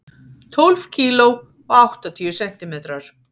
Tólf kíló og áttatíu sentimetrar.